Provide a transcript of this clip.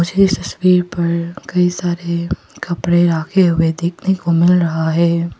मुझे इस तस्वीर पर कई सारे कपड़े रखे हुए देखने को मिल रहा है।